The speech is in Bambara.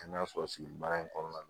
Kɛnɛya sɔrɔ sigi baara in kɔnɔna na